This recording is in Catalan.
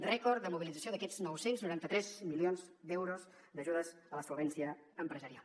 rècord de mobilització aquests nou cents i noranta tres milions d’euros d’ajudes a la solvència empresarial